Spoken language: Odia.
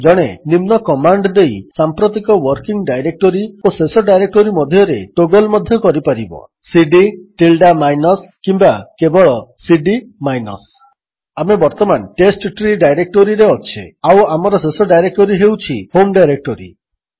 ଜଣେ ନିମ୍ନ କମାଣ୍ଡ୍ ଦେଇ ସାମ୍ପ୍ରତିକ ୱର୍କିଙ୍ଗ୍ ଡାଇରେକ୍ଟୋରୀ ଓ ଶେଷ ଡାଇରେକ୍ଟୋରୀ ମଧ୍ୟରେ ଟୋଗଲ୍ ମଧ୍ୟ କରିପାରିବ ସିଡି ଟିଲ୍ଡା ମାଇନସ୍ କିମ୍ୱା କେବଳ ସିଡି ମାଇନସ୍ ଆମେ ବର୍ତ୍ତମାନ ଟେଷ୍ଟଟ୍ରୀ ଡାଇରେକ୍ଟୋରୀରେ ଅଛେ ଆଉ ଆମର ଶେଷ ଡାଇରେକ୍ଟୋରୀ ହେଉଛି ହୋମ୍ ଡାଇରେକ୍ଟୋରୀ